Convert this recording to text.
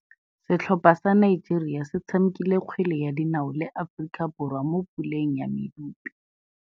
Setlhopha sa Nigeria se tshamekile kgwele ya dinaô le Aforika Borwa mo puleng ya medupe.